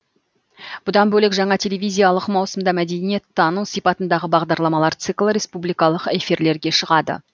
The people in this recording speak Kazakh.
бұдан бөлек жаңа телевизиялық маусымда мәдениеттану сипатындағы бағдарламалар циклі республикалық эфирлерге шығады